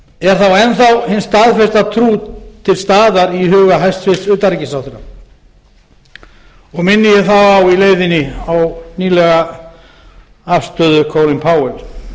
er þá enn þá hin staðfasta trú til staðar í huga hæstvirts utanríkisráðherra minni ég þá í leiðinni á nýlega afstöðu colins powells